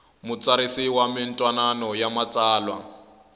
mutsarisi wa mintwanano ya matsalwa